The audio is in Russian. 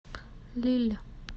лилль